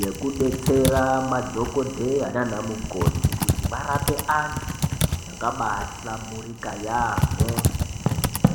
yekudetsera madhokodheya nanamukoti kuti varape antu zvakaba hlamburika yampho